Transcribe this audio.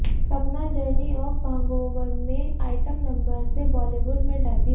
सपना journey of Bhangover में item number से बॉलीवुड में डेब्यू